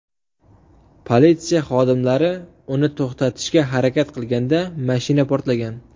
Politsiya xodimlari uni to‘xtatishga harakat qilganda mashina portlagan.